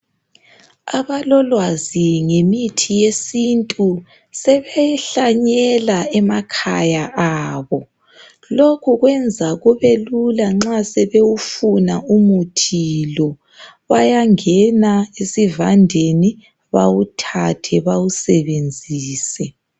Abalolwazi ngemithi yesintu sebehlanyela emakhaya abo. Lokhu kuyenza kubelula nxa sebewufuna umuthi lo. Bayangena esivandeni bawuthathe bawusebenzise.